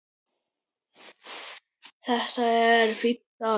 Þetta var fínn dagur.